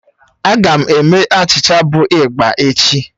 A ga m eme achịcha bụ igba echi.